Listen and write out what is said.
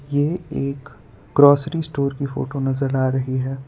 ये एक grocery store की फोटो नजर आ रही है।